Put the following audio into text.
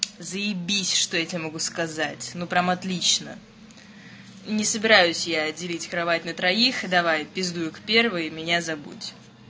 заебись что я тебе могу сказать ну прям отлично не собираюсь я делить кровать на троих давай пиздуй к первой и меня забудь